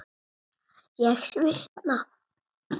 Ég svitna.